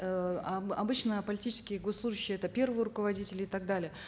обычно политические госслужащие это первые руководители и так далее